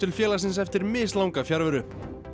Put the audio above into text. félagsins eftir mislanga fjarveru